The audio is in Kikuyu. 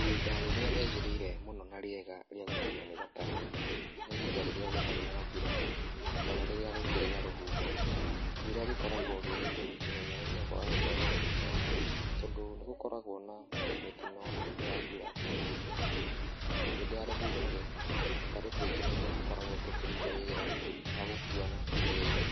Ihinda rĩrĩa rĩagĩrĩire mũno na rĩega rĩa gũkuo nĩ gataro, nĩ ihinda rĩrĩa gũtarĩ na mbura kana rĩrĩa gũkĩrĩ na rũhuho. Mbura gĩkoragwo gĩgĩtũmi kĩnene gĩa kwaga gũtwarwo nĩ tũtaro tondũ nĩ gũkoragwo na mĩtino hĩndĩ ya mbura iria-inĩ. Hĩndĩ ya rũhuho rĩ, tũtarũ tũingĩ nĩguo tũkoragwo tũkĩruta wĩra, wagũkuana iria-inĩ.